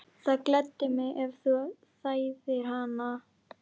Það gleddi mig, ef þú þæðir hana